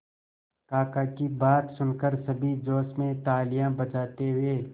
काका की बात सुनकर सभी जोश में तालियां बजाते हुए